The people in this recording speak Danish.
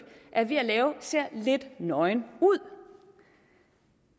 er ved at lave ser lidt nøgen ud